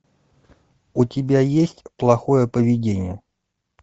у тебя есть плохое поведение